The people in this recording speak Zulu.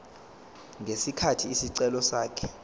ngesikhathi isicelo sakhe